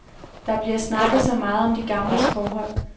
Der bliver snakket så meget om de gamles forhold.